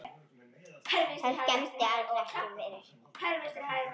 Það skemmdi alls ekki fyrir.